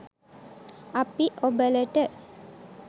අපි ඔබලට